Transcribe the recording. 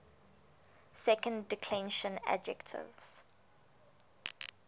second declension adjectives